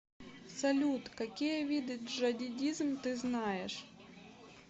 салют какие виды джадидизм ты знаешь